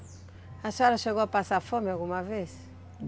A senhora chegou a passar fome alguma vez?